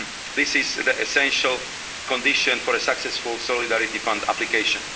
This is the essential condition for a successful Solidarity Fund application.